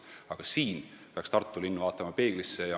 Aga siin peaks Tartu linn vaatama ise peeglisse.